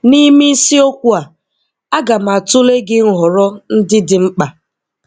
Nime isiokwu a, Aga m atụle gị nhọrọ ndị dị mkpa.